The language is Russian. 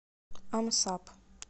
амсаб